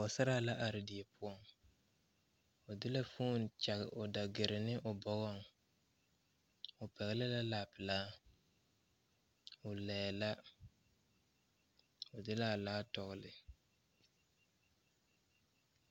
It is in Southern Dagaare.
Pɔɔsaraa la are die poɔŋ o de la foon kyage o dagire ne o bɔgɔŋ o pɛgle la laa pelaa o laiɛɛ la o de laa laa tɔgle.